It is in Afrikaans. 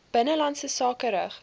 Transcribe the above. binnelandse sake rig